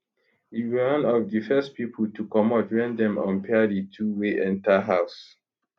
e be one of di first pipo to comot wen dem unpair di two wey enta house